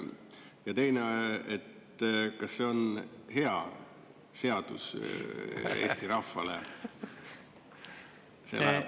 Ja teine, et kas see on hea seadus Eesti rahvale?